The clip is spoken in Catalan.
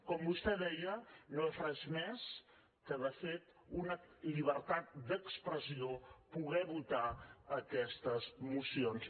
com vostè deia no és res més que de fet una llibertat d’expressió poder votar aquestes mocions